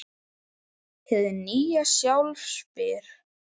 Hið nýja sjálf spyr